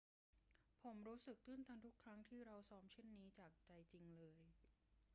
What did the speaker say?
ผมรู้สึกตื้นตันทุกครั้งที่เราซ้อมเช่นนี้ จากใจจริงเลย